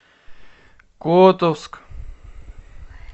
котовск